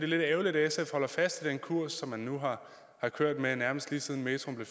lidt ærgerligt at sf holder fast i den kurs som man nu har kørt med nærmest lige siden metroen